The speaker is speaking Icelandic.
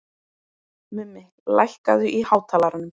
Mummi, lækkaðu í hátalaranum.